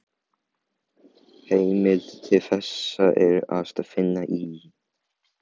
Heimild til þessa er að finna í